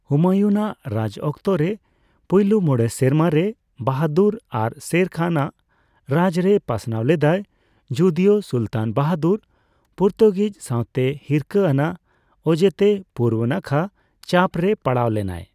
ᱦᱩᱢᱟᱭᱩᱱ ᱟᱜ ᱨᱟᱡᱽ ᱚᱠᱛᱚᱨᱮ ᱯᱳᱭᱞᱳ ᱢᱚᱬᱮ ᱥᱮᱨᱢᱟ ᱨᱮ ᱵᱟᱦᱟᱫᱩᱨ ᱟᱨ ᱥᱮᱨ ᱠᱷᱟᱱ ᱟᱜ ᱨᱟᱡᱽ ᱨᱮ ᱯᱟᱥᱱᱟᱣ ᱞᱮᱫᱟᱭ, ᱡᱚᱫᱤᱚ ᱥᱩᱞᱛᱟᱱ ᱵᱟᱦᱟᱫᱩᱨ ᱯᱩᱨᱛᱩᱜᱤᱡ ᱥᱟᱸᱣᱛᱮ ᱦᱤᱨᱠᱟᱹ ᱟᱱᱟᱜ ᱚᱡᱮᱛᱮ ᱯᱩᱨᱵᱚ ᱱᱟᱠᱷᱟ ᱪᱟᱯᱨᱮ ᱯᱟᱲᱟᱣ ᱞᱮᱱᱟᱭ ᱾